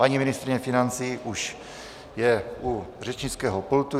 Paní ministryně financí už je u řečnického pultu.